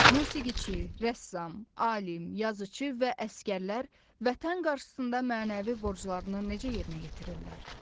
Musiqiçi, rəssam, alim, yazıcı və əsgərlər Vətən qarşısında mənəvi borclarını necə yerinə yetirirlər?